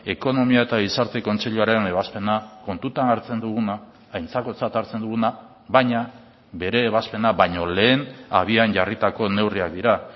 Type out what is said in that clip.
ekonomia eta gizarte kontseiluaren ebazpena kontutan hartzen duguna aintzakotzat hartzen duguna baina bere ebazpena baino lehen abian jarritako neurriak dira